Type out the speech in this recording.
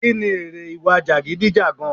Kí ni èrè ìwà jagidijagan?